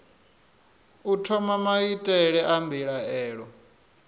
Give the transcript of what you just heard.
u thoma maitele a mbilaelo